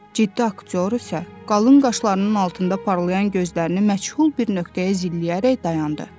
Ciddi aktyor isə qalın qaşlarının altında parlayan gözlərini məchul bir nöqtəyə zilləyərək dayandı.